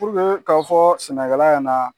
k'a fɔ sɛnɛkɛla yɛnan.